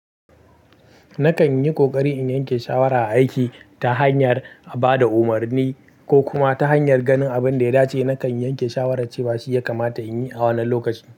Nakan yi ƙoƙari in yanke shawara a aiki ta hanyar a ba da umarni ko kuma ta hanyar ganin abin da ya dace. Nakan yanke shawarar cewa shi ya kamata in yi a wannan lokaci.